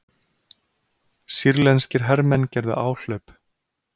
Sýrlenskir hermenn gerðu áhlaup